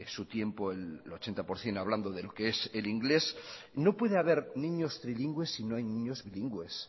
su tiempo el ochenta por ciento hablando de lo que es el inglés no puede haber niños trilingües si no hay niños bilingües